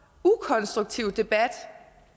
ukonstruktiv debat